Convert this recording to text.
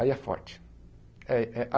Aí é forte. É é a